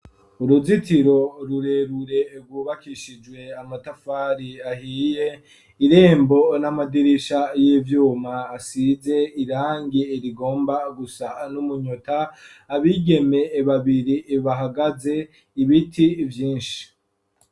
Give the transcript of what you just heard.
Uruzitiro rurerure rwubakishijwe amatafari ahiye, irembo n'amadirisha y'ivyuma asize irangi rigomba gusa n'umunyota, abigeme babiri bahagaze, ibiti vyinshi.